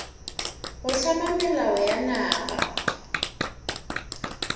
go hlama melao ya naga